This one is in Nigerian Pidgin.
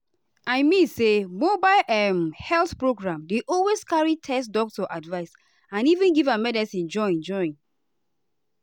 i mean say mobile um health program dey always carry test doctor advice and even give medicine join. join.